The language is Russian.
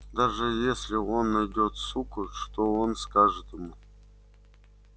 даже если он найдёт суку что он скажет ему